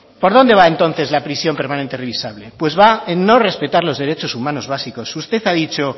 por dónde va entonces la prisión permanente revisable pues va en no respetar los derechos humanos básicos usted ha dicho